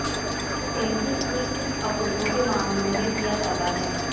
tansy फूल पित्त अवरोधों के मामलों में किया जाता है